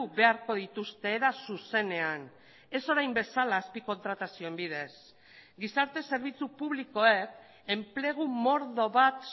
beharko dituzte era zuzenean ez orain bezala azpi kontratazioen bidez gizarte zerbitzu publikoek enplegu mordo bat